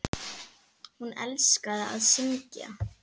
Hún elskaði að syngja.